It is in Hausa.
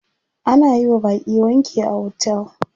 Ana yiwa baƙi wanki a hotel.